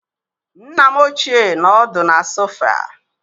Nna m ochié nọ ọdụ na sòfà